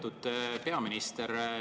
Lugupeetud peaminister!